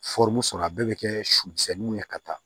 sɔrɔ a bɛɛ bɛ kɛ su misɛnninw ye ka taa